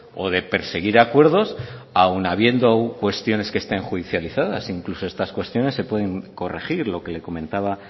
o de perseguir acuerdos aun habiendo cuestiones que estén judicializadas e incluso estas cuestiones se pueden corregir lo que le comentaba